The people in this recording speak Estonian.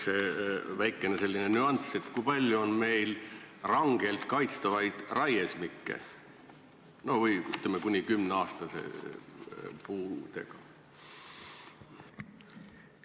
Ja väikene nüanss: kui palju on meil rangelt kaitstavaid raiesmikke või, ütleme, kuni 10-aastaste puudega?